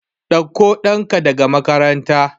Ɗakko ɗanka daga makaranta.